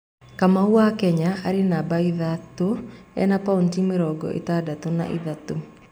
Kamau wa Kenya arĩ namba ithatũ ena pointi mĩrongo ĩtandatũ na ĩtatũ.